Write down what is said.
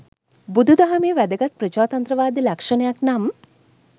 බුදු දහමේ වැදගත් ප්‍රජාතන්ත්‍රවාද ලක්ෂණයක් නම්,